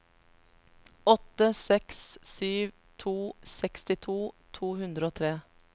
åtte seks sju to sekstito to hundre og tre